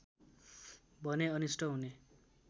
भने अनिष्ट हुने